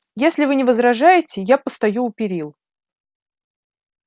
если вы не возражаете я постою у перил